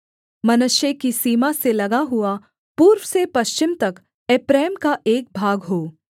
मनश्शे की सीमा से लगा हुआ पूर्व से पश्चिम तक एप्रैम का एक भाग हो